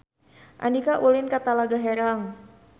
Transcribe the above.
Andika ulin ka Talaga Herang